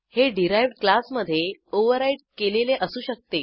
हे डिराइव्ह्ड क्लासमधे ओव्हरराईड केलेले असू शकते